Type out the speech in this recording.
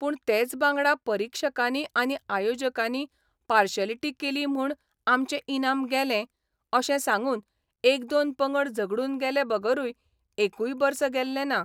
पूण तेच बांगडा परिक्षकांनी आनी आयोजकांनी पार्शालिटी केली म्हूण आमचें इनाम गेलें अशें सांगून एक दोन पंगड झगडून गेले बगरूय एकूय बर्स गेल्लें ना.